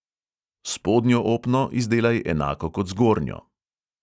Spodnjo opno izdelaj enako kot zgornjo.